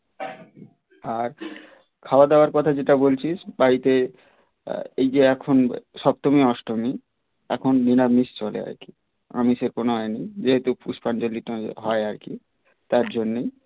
আর খাওয়া দাওয়ার কথা যেটা বলছিস তাইতে এই যে এখন সপ্তমী অষ্টমী এখন নিরামিষ চলে আর কি আমিষের কোনো আয়োজন নেই যেহেতু পুষ্পাঞ্জলিটা হয় আর কি তার জন্যই